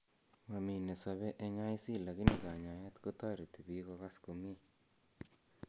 Momi nesobe eng' IC lakini kanyaeet kotoreti biik kogas komiee